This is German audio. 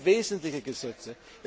Aber es sind wesentliche Gesetze.